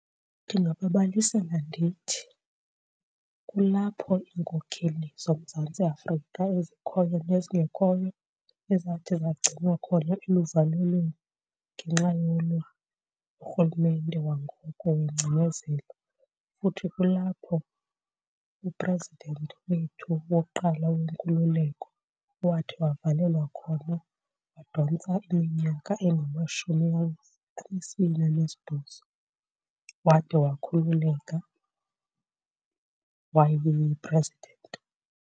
Ndingababalisela ndithi kulapho iinkokheli zoMzantsi Afrika ezikhoyo nezingekhoyo ezathi zagcinwa khona eluvalelweni ngenxa yolwa urhulumente wangoko wengcinezelo. Futhi kulapho u-president wethu wokuqala wenkululeko owathi wavalelwa khona, wadontsa iminyaka engamashumi anesibini anesibhozo wade wakhululeka wayi-president.